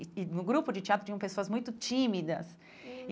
E e no grupo de teatro tinham pessoas muito tímidas.